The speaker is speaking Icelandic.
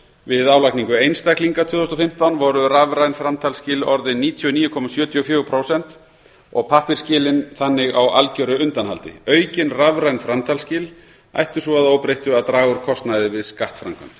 við álagningu einstaklinga tvö þúsund og fimmtán voru rafræn framtalsskil orðin níutíu og níu komma sjötíu og fjögur prósent og pappírsskilin þannig á algjöru undanhaldi aukin rafræn framtalsskil ættu svo að óbreyttu að draga úr kostnaði við skattframkvæmd